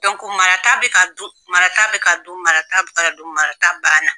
marata bɛ ka dun marata bɛ ka dun marata bɛ ka dun marata ban na.